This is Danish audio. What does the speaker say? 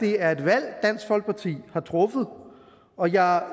det er et valg dansk folkeparti har truffet og jeg